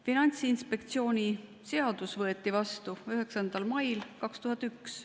Finantsinspektsiooni seadus võeti vastu 9. mail 2001.